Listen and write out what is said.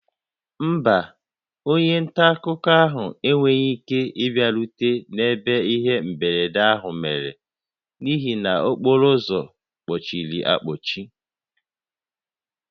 Mba, onye nta akụkọ ahụ enweghị ike ịbịarute n'ebe ihe mberede ahụ mere n'ihi na okporo ụzọ kpochiri akpochi